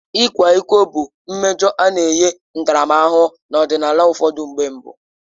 Ịkwa iko bụ mmejọ a na-enye ntaramahụhụ n'ọdịnala ụfọdụ mgbe mbụ.